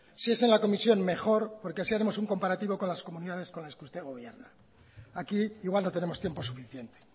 si es en la comisión mejor porque así haremos un comparativo con las comunidades con las que usted gobierna aquí igual no tenemos tiempo suficiente